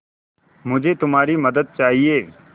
मुझे तुम्हारी मदद चाहिये